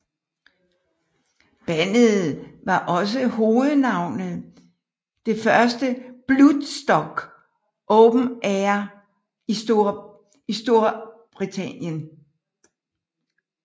Bandet var også hovednavnet det første Bloodstock Open Air i Strorbritannien